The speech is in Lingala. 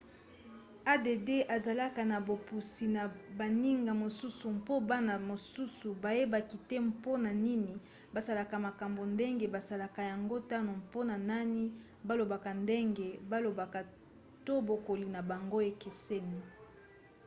add ezalaka na bopusi na baninga mosusu mpo bana mosusu bayebaka te mpona nini basalaka makambo ndenge basalaka yango to mpona nani balobaka ndenge balobaka to bokoli na bango ekeseni